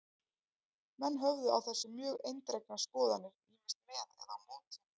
Menn höfðu á þessu mjög eindregnar skoðanir, ýmist með eða á móti.